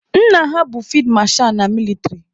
Nna ha bụ fid masha na mịlịtrị